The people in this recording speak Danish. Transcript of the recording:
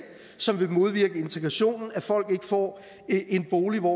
som vil modvirke integrationen at folk ikke får en bolig hvor